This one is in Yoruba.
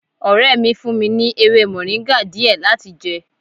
Ọrẹ mi fún mi ní ewé moringa díẹ̀ láti jẹ